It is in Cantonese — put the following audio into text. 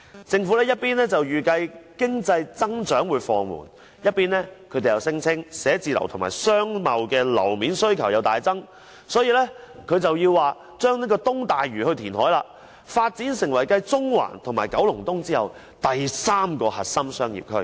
政府一邊預計經濟增長放緩，一邊卻聲稱辦公室和商貿樓面需求大增，所以要在東大嶼填海，發展成為繼中環和九龍東後第三個核心商業區。